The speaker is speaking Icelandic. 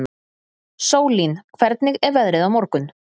Sólín, hvernig er veðrið á morgun?